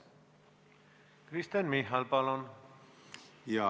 Kristen Michal, palun!